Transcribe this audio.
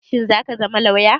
Shin zaka zama lauya?